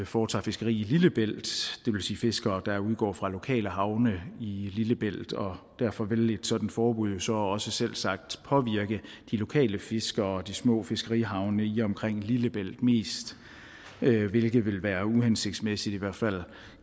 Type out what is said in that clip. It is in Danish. foretager fiskeri i lillebælt det vil sige fiskere der udgår fra lokale havne i lillebælt og derfor vil et sådant forbud jo så også selvsagt påvirke de lokale fiskere og de små fiskerihavne i og omkring lillebælt mest hvilket vil være uhensigtsmæssigt i hvert fald